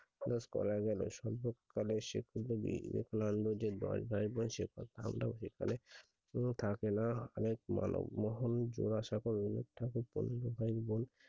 মানুষ করা গেলো ভাইবোন শিক্ষিত থাকেনা মহলে জুড়ে সকলে ভাইবোন